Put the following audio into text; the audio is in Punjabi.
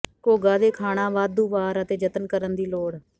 ਘੋਗਾ ਦੇ ਖਾਣਾ ਵਾਧੂ ਵਾਰ ਅਤੇ ਜਤਨ ਕਰਨ ਦੀ ਲੋੜ